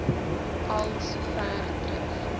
al sover terug